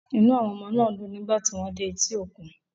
Inú àwọn ọmọ náà dùn nígbà tí wọ́n dé etí òkun.